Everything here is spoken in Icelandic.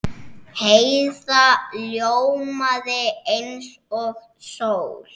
Heiða ljómaði eins og sól.